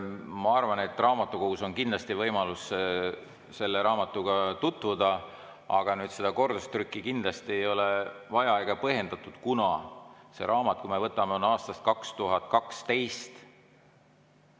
Ma arvan, et raamatukogus on kindlasti võimalik selle raamatuga tutvuda, aga kordustrükki kindlasti ei ole vaja, see ei ole põhjendatud, kuna see raamat on aastast 2012.